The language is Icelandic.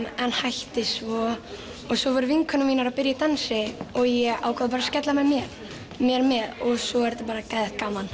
en hætti svo og svo voru vinkonur mínar að byrja í dansi og ég ákvað bara að skella mér með og svo er þetta bara geðveikt gaman